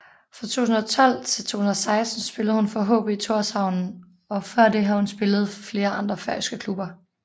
Fra 2012 til 2016 spillede hun for HB Tórshavn og før det har hun spillet for flere andre færøske klubber